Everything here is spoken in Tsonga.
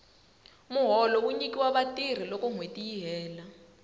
muholo wu nyikiwa vatirhi loko nwheti yi hela